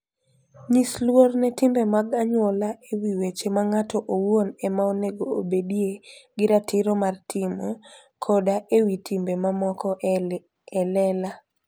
Nyis luor ne timbe mag anyuola e wi weche ma ng'ato owuon ema onego obedie gi ratiro mar timo, koda e wi timbe mamoko e lela.